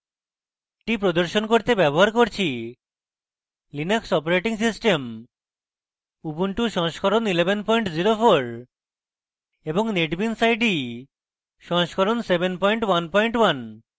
এটি প্রদর্শন করতে ব্যবহার করছি linux operating system ubuntu 1104 এবং netbeans ide 711